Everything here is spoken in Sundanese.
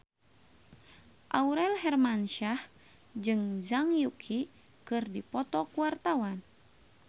Aurel Hermansyah jeung Zhang Yuqi keur dipoto ku wartawan